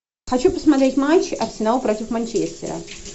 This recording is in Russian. хочу посмотреть матч арсенал против манчестера